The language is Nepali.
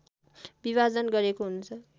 विभाजन गरिएको हुन्छ